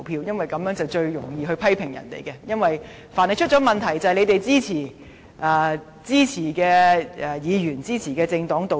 因為這做法最容易，凡是出了問題，他便批評是支持的議員、支持的政黨導致。